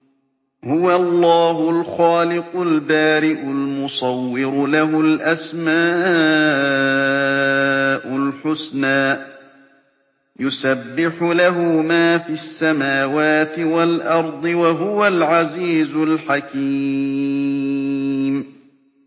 هُوَ اللَّهُ الْخَالِقُ الْبَارِئُ الْمُصَوِّرُ ۖ لَهُ الْأَسْمَاءُ الْحُسْنَىٰ ۚ يُسَبِّحُ لَهُ مَا فِي السَّمَاوَاتِ وَالْأَرْضِ ۖ وَهُوَ الْعَزِيزُ الْحَكِيمُ